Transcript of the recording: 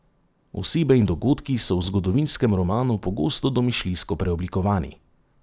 Osebe in dogodki so v zgodovinskem romanu pogosto domišljijsko preoblikovani.